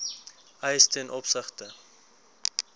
eis ten opsigte